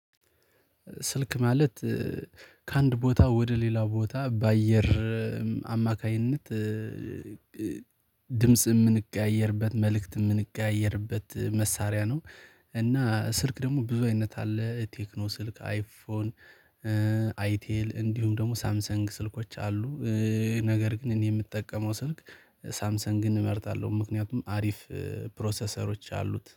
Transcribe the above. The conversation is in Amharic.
ስልክ ማለት ከአንድ ቦታ ወደ ሌላ ቦታ በአየር አማካኝነት ድምጽ የምንቀያየርበት መልእክት የምንቀያየርበት መሳሪያ ነው። እና ስልክ ደግሞ ብዙ አይነት አለ ቴክኖ ስልክ አይፎን አይቴል እንዲሁም ደግሞ ሳምሰንግ ስልኮች አሉ። ነገር ግን እኔ የምጠቀመው ስልክ ሳምሰንግን እመርጣለሁ። ምክንያቱም አሪፍ ፕሮሰሰሮች አሉት